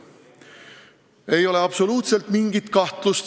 Ühes asjas ei ole absoluutselt mitte mingit kahtlust.